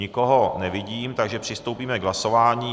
Nikoho nevidím, takže přistoupíme k hlasování.